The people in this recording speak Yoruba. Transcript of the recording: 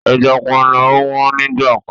Ẹja panla ò wọ́n nígbà kan.